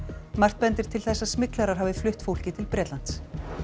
margt bendir til þess að smyglarar hafi flutt fólkið til Bretlands